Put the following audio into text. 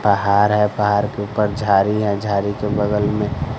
पहाड़ है पहाड़ के ऊपर झाड़ी हैं झाड़ी के बगल में--